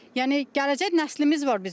Yəni gələcək nəslimiz var bizim.